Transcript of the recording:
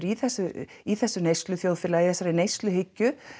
í þessu í þessu neysluþjóðfélagi þessari neysluhyggju